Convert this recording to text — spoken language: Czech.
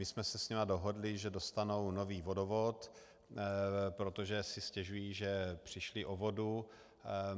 My jsme se s nimi dohodli, že dostanou nový vodovod, protože si stěžují, že přišli o vodu.